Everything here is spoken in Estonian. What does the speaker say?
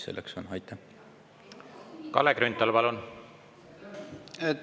Kalle Grünthal, palun!